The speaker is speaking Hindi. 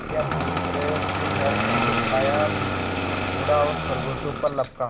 भेड़िया पूरी तरह से घर में घुस आया मुड़ा और खरगोशों पर लपका